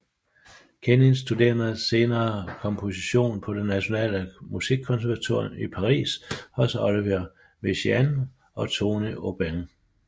Kenins studerede senere komposition på det Nationale Musikkonservatorium i Paris hos Olivier Messiaen og Tony Aubin